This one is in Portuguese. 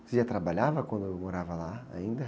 Você já trabalhava quando morava lá ainda?